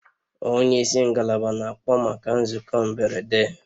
Onye isi ngalaba na-akpọ maka nzukọ mberede